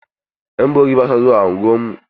Ƴan bori ba su zuwa unguwarmu.